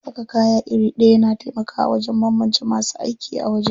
Saka kaya iri ɗaya na taimakawa wajen banbance masu aiki a waje.